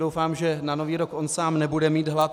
Doufám, že na Nový rok on sám nebude mít hlad.